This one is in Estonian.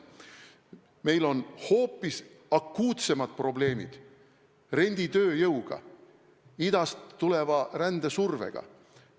Meil on hoopis akuutsemad probleemid renditööjõuga, idast tuleva rändesurvega.